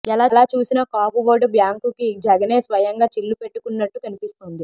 ఎలా చూసినా కాపు ఓటు బ్యాంక్ కి జగనే స్వయంగా చిల్లు పెట్టుకున్నట్టు కనిపిస్తోంది